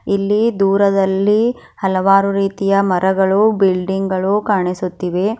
ಇಲ್ಲಿ ದೂರದಲ್ಲಿ ಹಲವಾರು ರೀತಿಯ ಮರಗಳು ಬಿಲ್ಡಿಂಗ್ ಗಳು ಕಾಣಿಸುತ್ತಿವೆ.